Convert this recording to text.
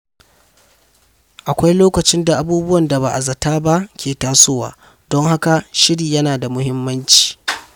Akwai lokacin da abubuwan da ba a zata ba ke tasowa, don haka shiri yana da muhimmanci.